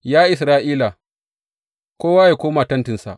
Ya Isra’ila, kowa yă koma tentinsa!